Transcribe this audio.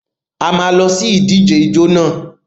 A máa lọ sí ìdíje ijó nà.